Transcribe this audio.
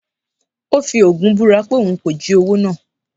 ó fi ogún búra pé òun kò jí owó náà